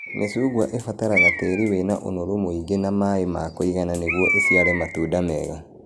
Mĩcungwa ĩbataraga tĩĩri wĩna ũnoru mũingi na maĩ ma kũigana nĩguo ĩciare matunda mega